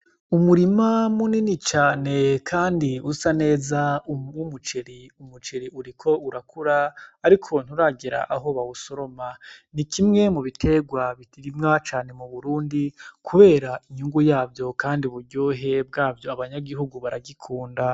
Umurima munini cane kandi usa neza, urimwo umuceri uriko urakura, ariko nturagera who bawusoroma. Ni kimwe mu biterwa birimwa cane mu Burundi kubera inyungu yavyo kandi uburyohe bwavyo, abanyagihugu baragikunda.